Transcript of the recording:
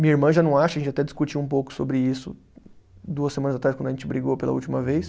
Minha irmã já não acha, a gente até discutiu um pouco sobre isso duas semanas atrás, quando a gente brigou pela última vez.